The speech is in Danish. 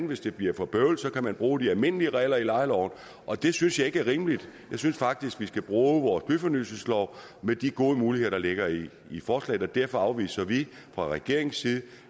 hvis det bliver for bøvlet at bruge de almindelige regler i lejeloven og det synes jeg ikke er rimeligt jeg synes faktisk vi skal bruge vores byfornyelseslov med de gode muligheder der ligger i forslaget derfor afviser vi fra regeringens side